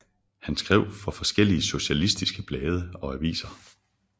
Han skrev for forskellige socialistiske blade og aviser